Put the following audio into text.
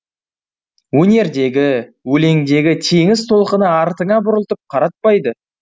өнердегі өлеңдегі теңіз толқыны артыңа бұрылтып қаратпайды